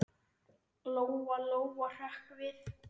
Lóa-Lóa hrökk við.